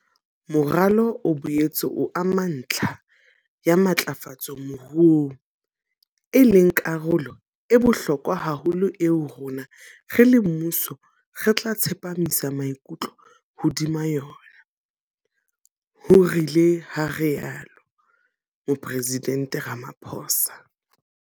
Moralo o boetse o ama ntlha ya matlafatso moruong, e leng karolo e bohlokwa haholo eo rona, re le mmuso, re tla tsepamisa maikutlo hodima yona, ho ile ha rialo Mopresidente Ramaphosa.